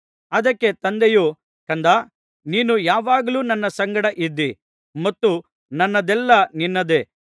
ಅದಕ್ಕೆ ತಂದೆಯು ಕಂದಾ ನೀನು ಯಾವಾಗಲೂ ನನ್ನ ಸಂಗಡ ಇದ್ದೀ ಮತ್ತು ನನ್ನದೆಲ್ಲಾ ನಿನ್ನದೇ